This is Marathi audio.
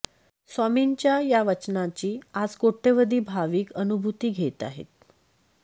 स्वामींच्या या वचनाची आज कोट्यवधी भाविक अनुभूती घेत आहेत